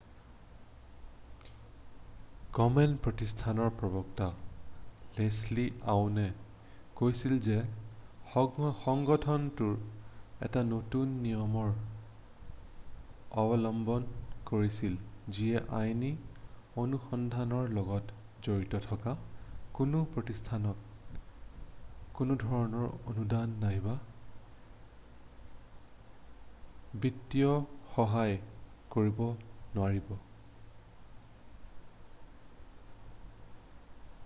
কমেন প্ৰতিষ্ঠানৰ প্ৰবক্তা লেচলি আউনে কৈছিল যে সংগঠনটোৱে এটা নতুন নিয়মৰ অৱলম্বন কৰিছিল যিয়ে আইনী অনুসন্ধানৰ লগত জড়িত থকা কোনো প্ৰতিষ্ঠানক কোনোধৰণৰ অনুদান নাইবা বিত্তীয় সহায় কৰিব নোৱাৰিব